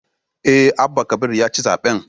Eh, Abba Kabir ya ci zaben